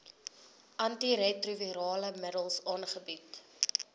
antiretrovirale middels aangebied